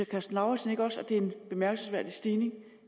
karsten lauritzen ikke også at det er en bemærkelsesværdig stigning